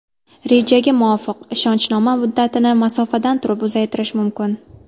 Rejaga muvofiq, ishonchnoma muddatini masofadan turib uzaytirish mumkin.